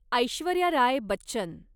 Aishwarya Rai Bachchan